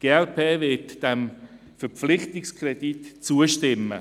Die glp wird diesem Verpflichtungskredit zustimmen.